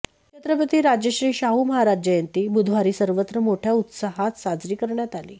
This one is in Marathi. छत्रपती राजर्षी शाहू महाराज जयंती बुधवारी सर्वत्र मोठ्या उत्साहात साजरी करण्यात आली